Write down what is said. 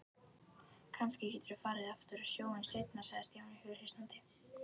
Kannski geturðu farið aftur á sjóinn seinna sagði Stjáni hughreystandi.